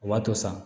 O b'a to sa